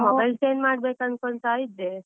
Mobile change ಮಾಡ್ಬೇಕ್ ಅನ್ಕೊಳ್ತಾ ಇದ್ದೆ.